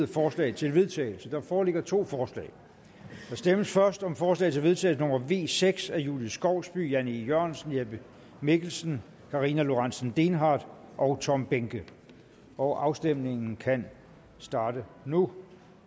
forslag til vedtagelse der foreligger to forslag der stemmes først om forslag til vedtagelse nummer v seks af julie skovsby jan e jørgensen jeppe mikkelsen karina lorentzen dehnhardt og tom behnke og afstemningen kan starte nu